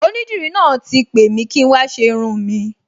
Onídìrí náà ti pè mi kí n wá ṣe irun-ùn mi